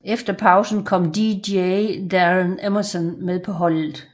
Efter pausen kom Dj Darren Emmerson med på holdet